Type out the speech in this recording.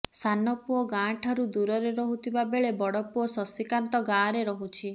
ସାନପୁଅ ଗାଁଠାରୁ ଦୂରରେ ରହୁଥିବାବେଳେ ବଡ଼ପୁଅ ଶଶିକାନ୍ତ ଗାଁରେ ରହୁଛି